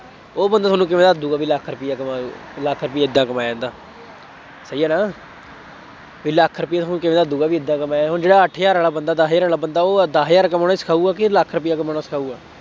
ਉਹ ਬੰਦਾ ਤੁਹਾਨੂੰ ਕਿਵੇਂ ਦੱਸ ਦੇਊਗਾ, ਬਈ ਲੱਖ ਰੁਪਇਆ ਕਮਾਓ, ਲੱਖ ਰੁਪਇਆ ਏਦਾਂ ਕਮਾਇਆ ਜਾਂਦਾ, ਸਹੀ ਹੈ ਨਾ, ਬਈ ਲੱਖ ਰੁਪਇਆ ਤੁਹਾਨੂੰ ਕਿਵੇਂ ਦੱਸ ਦੇਊਗਾ, ਬਈ ਏਦਾ ਕਮਾਇਆ, ਹੁਣ ਜਿਹੜਾ ਅੱਠ ਹਜ਼ਾਰ ਵਾਲਾ ਬੰਦਾ, ਦਸ ਹਜ਼ਾਰ ਵਾਲਾ ਬੰਦਾ, ਉਹ ਦਸ ਹਜ਼ਾਰ ਕਮਾਉਣਾ ਹੀ ਸਿਖਾਊਗਾ ਕਿ ਲੱਖ ਰੁਪਇਆ ਕਮਾਉਣਾ ਸਿਖਾਊਗਾ।